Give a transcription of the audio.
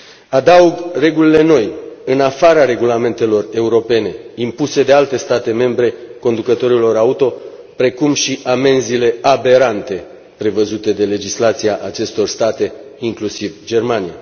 Adaug regulile noi, în afara regulamentelor europene, impuse de alte state membre conducătorilor auto, precum și amenzile aberante prevăzute de legislația acestor state, inclusiv Germania.